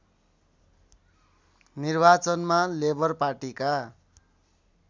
निर्वाचनमा लेबर पार्टीका